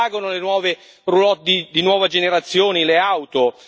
Come pagano le nuove roulotte di nuova generazione, le auto?